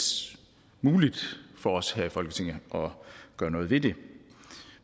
muligt for os her i folketinget at gøre noget ved det